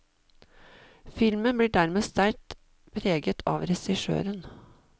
Filmen blir dermed sterkt preget av regissøren.